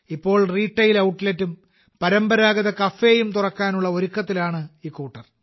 ഇപ്പോൾ റീട്ടെയിൽ ഔട്ട്ലെറ്റും പരമ്പരാഗത കഫേയും തുറക്കാനുള്ള ഒരുക്കത്തിലാണ് ഇക്കൂട്ടർ